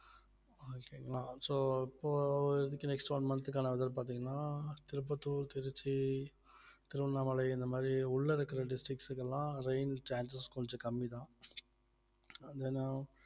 okay ங்களா so இப்போ இதுக்கு next one month க்கான இது பார்த்தீங்கன்னா திருப்பத்தூர் திருச்சி திருவண்ணாமலை இந்த மாதிரி உள்ள இருக்கிற districts க்கு எல்லாம் rain chances கொஞ்சம் கம்மிதான் ஏன்னா